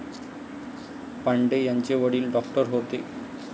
पांडे यांचे वडील डॉक्टर होते.